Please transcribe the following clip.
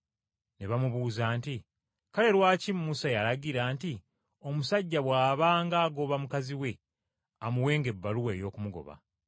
Ne bamubuuza nti, “Kale lwaki Musa yalagira nti omusajja bw’abanga agoba mukazi we amuwenga ebbaluwa ey’okumugoba?”